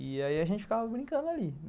E aí a gente ficava brincando ali.